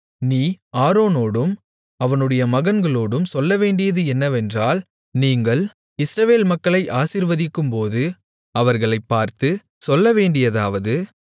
நீ ஆரோனோடும் அவனுடைய மகன்களோடும் சொல்லவேண்டியது என்னவென்றால் நீங்கள் இஸ்ரவேல் மக்களை ஆசீர்வதிக்கும்போது அவர்களைப் பார்த்துச் சொல்லவேண்டியதாவது